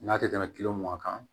N'a tɛ tɛmɛ kilo mugan kan